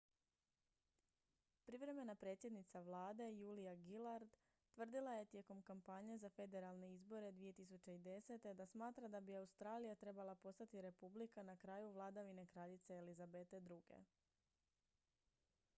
privremena predsjednica vlade julia gillard tvrdila je tijekom kampanje za federalne izbore 2010. da smatra da bi australija trebala postati republika na kraju vladavine kraljice elizabete ii